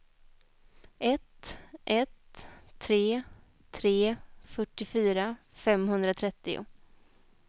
ett ett tre tre fyrtiofyra femhundratrettio